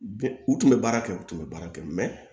U tun bɛ baara kɛ u tun bɛ baara kɛ